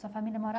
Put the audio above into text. Sua família